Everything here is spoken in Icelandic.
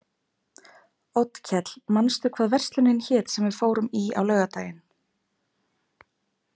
Oddkell, manstu hvað verslunin hét sem við fórum í á laugardaginn?